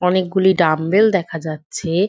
অনেকগুলি ডাম্বেল দেখা যাচ্ছে।